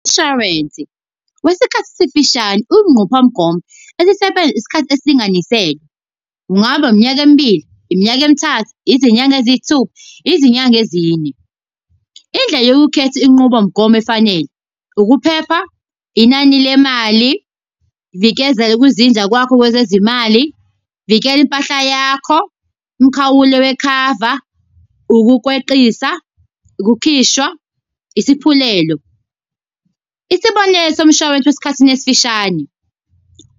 Umshwarensi wesikhathi esifishane, uyinqophamgomo esisebenza isikhathi esilinganiselwe. Kungaba iminyaka emibili, iminyaka emithathu, izinyanga eziyisithupha, izinyanga ezine. Indlela yokukhetha inqubomgomo efanele, ukuphepha, inani lemali, vikezela kwizinja kwakho kwezezimali. Vikela impahla yakho, umkhawulo wekhava, ukukweqisa, ukukhishwa, isaphulelo. Isibonelo somshwalense wesikhathini esifishane,